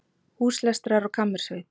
Húslestrar og kammersveit